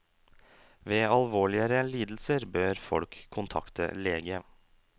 Ved alvorligere lidelser bør folk kontakte lege.